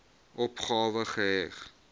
opgawe geheg